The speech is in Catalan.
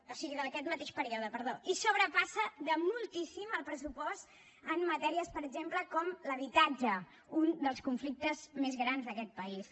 o sigui d’aquest mateix període perdó i sobrepassa de moltíssim el pressupost en matèries per exemple com l’habitatge un dels conflictes més grans d’aquest país